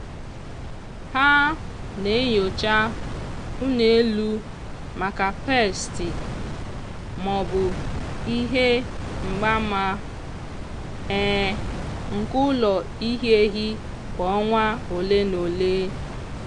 ha na-enyocha ụlọ elu maka peestị maọbụ ihe mgbaama um nke ụlọ ihi ehi kwa ọnwa ole na ole.